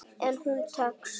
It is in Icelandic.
En hún tekst.